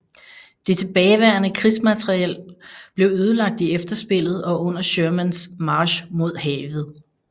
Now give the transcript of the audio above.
Det tilbageværende krigsmateriel blev ødelagt i efterspillet og under Shermans march mod havet